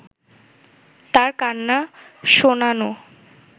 তার কান্না শোনানো